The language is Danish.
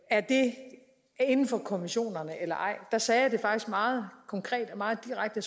er det inden for konventionerne eller ej og der sagde jeg det faktisk meget konkret og meget direkte